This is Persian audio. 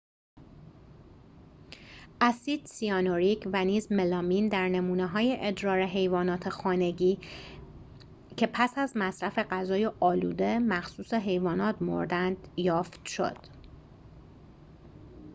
اسید سیانوریک و نیز ملامین در نمونه‌های ادرار حیوانات خانگی که پس از مصرف غذای آلوده مخصوص حیوانات مردند یافت شد